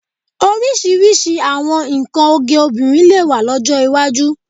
Oríṣiríṣi àwọn nnkan oge obìnrin lè wà lọ́jọ́ iwájú